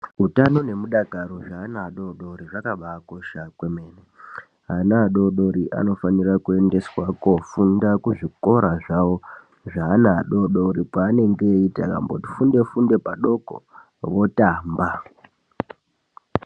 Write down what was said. Hutana ne mudakaro zve ana adodori zvakabai kosha kwemene ana adodori anofanira kuendeswa kofunda kuzvikora zvavo zve ana adodori pa anenge eyiti akati funde funde padoko otamba